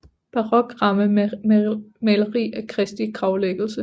Barok ramme med maleri af Kristi gravlæggelse